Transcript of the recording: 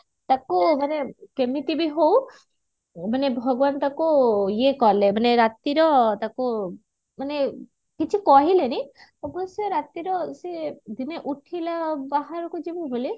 ତାକୁ ମାନେ କେମିତି ବି ହଉ ମାନେ ଭଗବାନ ତାକୁ ଇଏ କଲେ ମାନେ ରାତିର ତାକୁ ମାନେ କିଛି କହିଲେନି ଅବଶ୍ୟ ରାତିର ସେ ଦିନେ ଉଠିଲା ବାହାରକୁ ଯିବ ବୋଲି